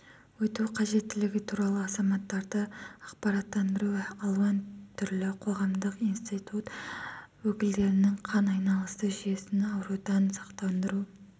өту қажеттілігі туралы азаматтарды ақпараттандыру алуан түрлі қоғамдық институт өкілдерінің қан айналысы жүйесін аурудан сақтандыру